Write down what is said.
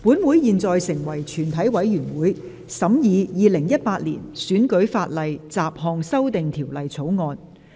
本會現在成為全體委員會，審議《2018年選舉法例條例草案》。